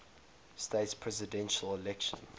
states presidential election